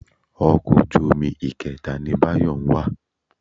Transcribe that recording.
Ọkọ̀ ojú omi ìkẹta ni Báyọ̀ ń wà.